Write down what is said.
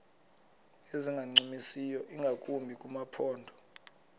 ezingancumisiyo ingakumbi kumaphondo